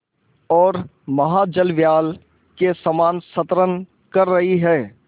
ओर महाजलव्याल के समान संतरण कर रही है